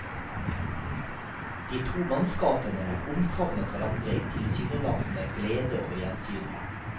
De to mannskapene omfavnet hverandre i tilsynelatende glede over gjensynet.